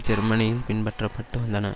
ஜெர்மனியில் பின்பற்றப்பட்டு வந்தன